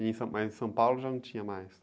E em são, mas em São Paulo já não tinha mais?